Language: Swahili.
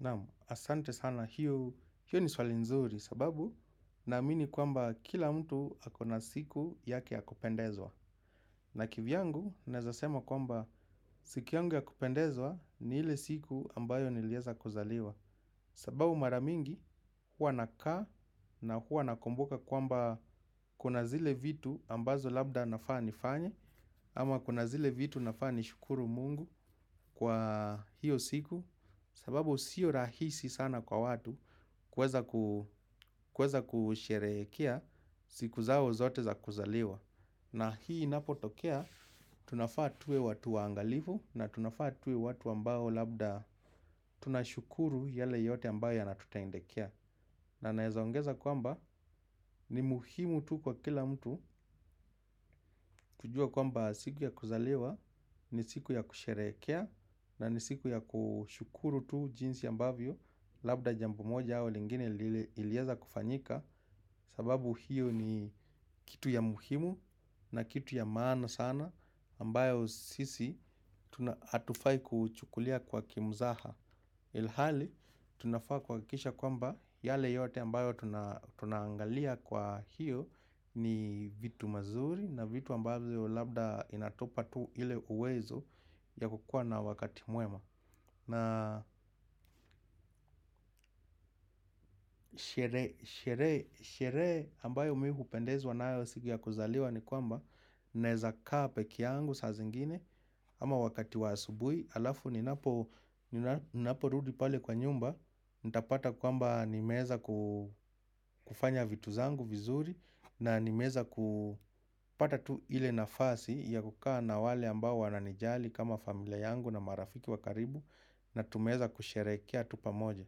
Naam asante sana hiyo ni swali nzuri sababu naamini kwamba kila mtu akona siku yake ya kupendezwa. Na kivyangu naeza sema kwamba siku yangu ya kupendezwa ni ile siku ambayo nilieza kuzaliwa. Sababu maramingi huwa nakaa na huwa nakumbuka kwamba kuna zile vitu ambazo labda nafaa nifanye. Ama kuna zile vitu nafaa ni shukuru mungu kwa hiyo siku sababu sio rahisi sana kwa watu kuweza kuweza kusherehekea siku zao zote za kuzaliwa na hii inapotokea tunafaa tuwe watu waangalivu na tunafaa tuwe watu ambao labda tunashukuru yale yote ambayo ya natutendekea na naeza ongeza kwamba ni muhimu tu kwa kila mtu kujua kwamba siku ya kuzaliwa ni siku ya kusherehekea. Na nisiku ya kushukuru tu jinsi ambavyo labda jambo moja au lingine ilieza kufanyika. Sababu hiyo ni kitu ya muhimu na kitu ya maana sana ambayo sisi hatufai kuchukulia kwa kimzaha ilhali, tunafaa kuhakikisha kwamba yale yote ambayo tunaangalia kwa hiyo ni vitu mazuri na vitu ambazo labda inatupa tu ile uwezo ya kukuwa na wakati mwema. Na shere, shere, sherehe ambayo mimi hupendezwa nayo siku ya kuzaliwa ni kwamba naezakaa pekee yangu saa zingine ama wakati wa asubuhi halafu ninapo rudi pale kwa nyumba nitapata kwamba nimeweza kufanya vitu zangu vizuri na nimeweza kupata tu ile nafasi ya kukaa na wale ambao wananijali kama familia yangu na marafiki wakaribu na tumeweza kusherehekea tu pamoja.